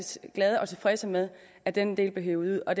glade og tilfredse med at den del blev hevet ud og